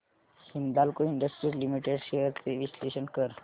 Hindalco industries limited shares चे विश्लेषण कर